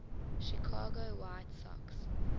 chicago white sox